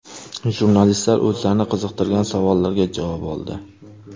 Jurnalistlar o‘zlarini qiziqtirgan savollarga javob oldi.